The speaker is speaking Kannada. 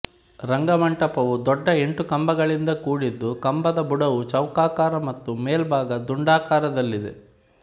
ರಂಗಮಂಟಪವು ದೊಡ್ಡ ಎಂಟು ಕಂಬಗಳಿಂದ ಕೂಡಿದ್ದು ಕಂಬದ ಬುಡವು ಚೌಕಾಕಾರ ಮತ್ತು ಮೇಲ್ಭಾಗ ದುಂಡಾಕಾರದಲ್ಲಿದೆ